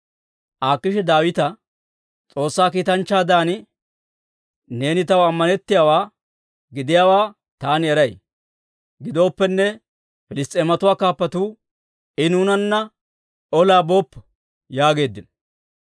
Akiishi Daawita, «S'oossaa kiitanchchaadan neeni taw ammanettiyaawaa gidiyaawaa taani eray; gidooppenne, Piliss's'eematuwaa kaappatuu, ‹I nuunanna olaa booppo› yaageeddino.